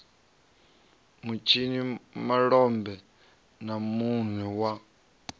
vhatshini malombe na mune wa